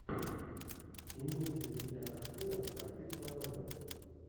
имеется ли у тебя картина по типу новеллы